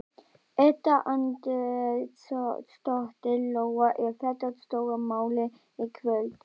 Edda Andrésdóttir: Lóa, er þetta stóra málið í kvöld?